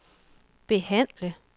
behandle